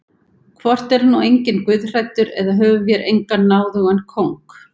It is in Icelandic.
Hvort er nú enginn guðhræddur eða höfum vér engan náðugan kóng?